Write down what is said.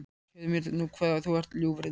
Segðu mér nú hvaðan þú ert, ljúfurinn?